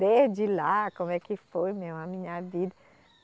Desde lá, como é que foi minha, a minha vida.